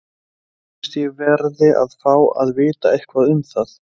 Mér finnst ég verði að fá að vita eitthvað um það.